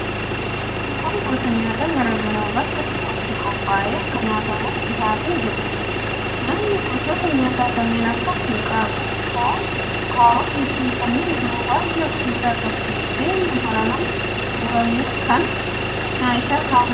Kun gosa nyaataa garaa garaa bakka tokkotti qophaa'ee akka nyaatamuuf dhihaatee jiruudha. Nyaatni gosoota nyaataa kanneen akka: hanqaaquu, foon, kaarotiifi kanneen biroo baay'ee of keessaa qaba. Buddeenni maramaan murmuramee cina isaa kaa'amee jira.